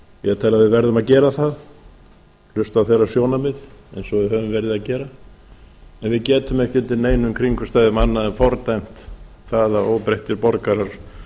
að við verðum að gera það hlusta á þeirra sjónarmið eins og við höfum verið að gera en við getum ekki undir neinum kringumstæðum annað en fordæmt það að óbreyttir borgarar